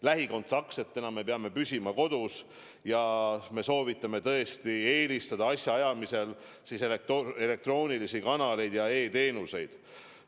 Lähikontaktsetena me peame püsima kodus ja me soovitame tõesti eelistada asjaajamisel elektroonilisi kanaleid ja kasutada e-teenuseid.